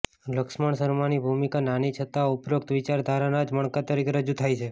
લક્ષ્રમણશર્માની ભૂમિકા નાની છતાં ઉપરોક્ત વિચારધારાના જ મણકા તરીકે રજુ થાય છે